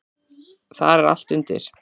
Þar er allt undir.